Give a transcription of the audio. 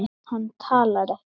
Hann talar ekki.